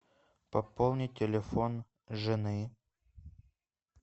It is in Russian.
пополни телефон жены